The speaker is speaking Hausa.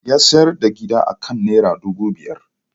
Ya sayar da gidan akan Naira dubu biyar.